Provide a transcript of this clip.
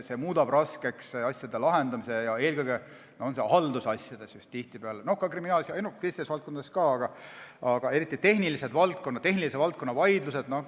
See muudab raskeks asjade lahendamise, eelkõige tihtipeale just haldusasjades, ka teistes valdkondades, aga eriti keerulised on tehnilise valdkonna vaidlused.